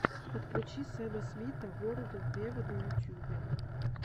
подключи сэма смита ворлд вево на ютюбе